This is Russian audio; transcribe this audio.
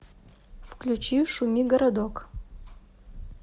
включи шуми городок